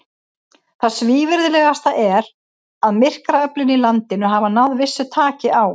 Það svívirðilegasta er, að myrkraöflin í landinu hafa náð vissu taki á.